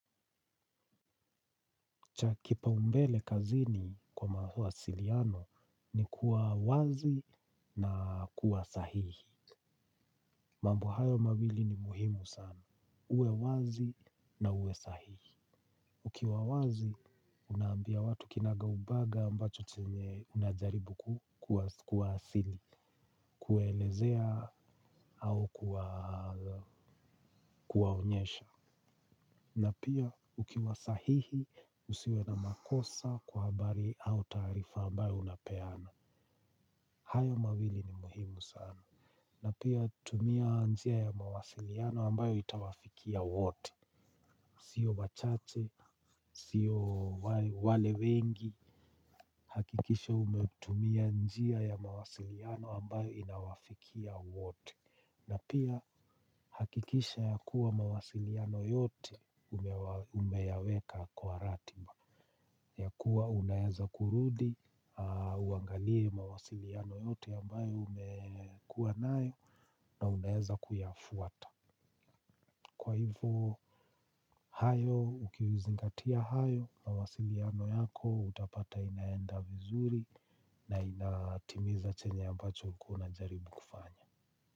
Cha kipaumbele kazini kwa mawasiliano ni kuwa wazi na kuwa sahihi. Mambo hayo mawili ni muhimu sana. Uwe wazi na uwe sahihi. Ukiwa wazi, unaambia watu kinaga ubaga ambacho chenye unajaribu kuwa asili, kuelezea au kuwa onyesha. Na pia ukiwa sahihi, usiwe na makosa kwa habari au taarifa ambayo unapeana. Hayo mawili ni muhimu sana. Na pia tumia njia ya mawasiliano ambayo itawafikia wote. Sio wachache, sio wale wengi. Hakikisha umetumia njia ya mawasiliano ambayo inawafikia wote. Na pia hakikisha ya kuwa mawasiliano yote umeyaweka kwa ratiba. Ya kuwa unaweza kurudi, uangalie mawasiliano yote ambayo umekuwanayo na unaweza kuyafuata. Kwa hivo, hayo, ukizingatia hayo, mawasiliano yako utapata inaenda vizuri na inatimiza chenye ambacho ulikuwa unajaribu kufanya.